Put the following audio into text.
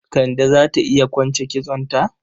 Kande za ta iya kwance kitsonta?